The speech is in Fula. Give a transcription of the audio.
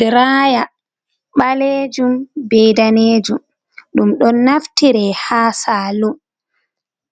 Draya ɓaleejum be daneejum. Ɗum ɗo naftire ha salum,